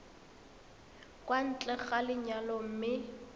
kwa ntle ga lenyalo mme